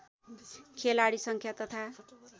खेलाडी सङ्ख्या तथा